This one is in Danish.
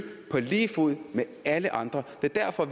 på lige fod med alle andre det er derfor